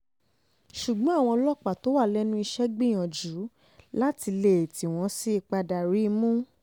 ṣùgbọ́n àwọn ọlọ́pàá tó wà lẹ́nu iṣẹ́ gbìyànjú láti lé e tí wọ́n sì padà rí i mú